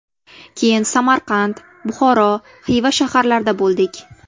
Keyin Samarqand, Buxoro, Xiva shaharlarida bo‘ldik.